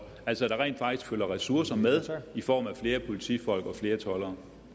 altså at der rent faktisk følger ressourcer med i form af flere politifolk og flere toldere